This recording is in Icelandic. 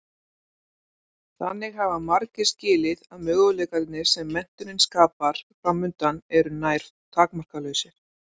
Þannig hafa margir skilið að möguleikarnir sem menntunin skapar framundan eru nær takmarkalausir.